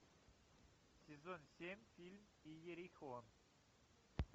сезон семь фильм иерихон